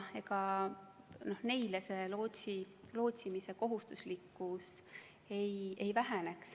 Neile lootsimise kohustuslikkus ei vähene.